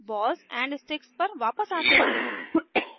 balls and sticks पर वापस आते हैं